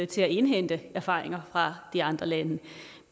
til at indhente erfaringer fra de andre lande